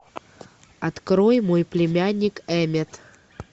открой мой племянник эммет